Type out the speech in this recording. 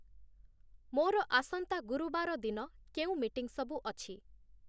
ମୋର ଆସନ୍ତା ଗୁରୁବାର ଦିନ କେଉଁ ମିଟିଂସବୁ ଅଛି ?